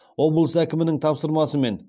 облыс әкімінің тапсырмасымен